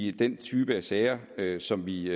i den type af sager sager som vi